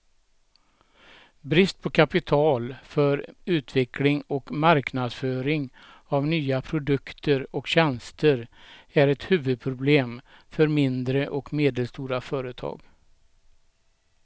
Brist på kapital för utveckling och marknadsföring av nya produkter och tjänster är ett huvudproblem för mindre och medelstora företag.